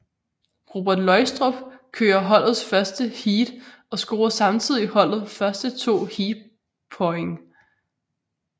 Robert Løgstrup kører holdets første heat og scorer samtidig holdet første to heatpoint